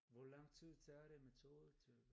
Hvor lang tid tager det med toget til?